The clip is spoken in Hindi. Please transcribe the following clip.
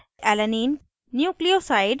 * amino acidalanine